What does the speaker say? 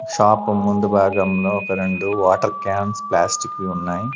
Shop ముందు భాగంలో ఒక రెండు వాటర్ క్యాన్స్ ప్లాస్టిక్ వి ఉన్నాయ్.